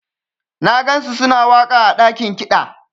Na gansu suna waka ã dakin kida.